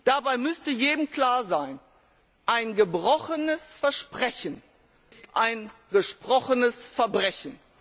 Dabei müsste jedem klar sein Ein gebrochenes Versprechen ist ein gesprochenes Verbrechen.